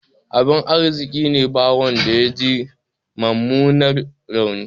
Abin arziƙine ba wanda yaji mummunan rauni.